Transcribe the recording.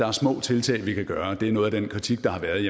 er små tiltag vi kan gøre noget af den kritik der har været